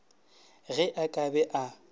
ge a ka be a